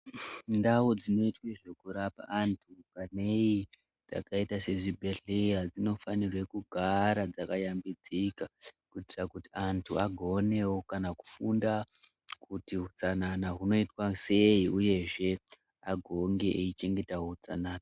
Ndau dzino itwe zveku rapa antu vaneyi dzaka ita se zvibhedhlera dzino fanirwe kugara dzaka yambidzika ku itira kuti antu vagonewo kana kufunda kuti hutsanana huno itwa sei uyezve agonge eyi chengeta utsanana.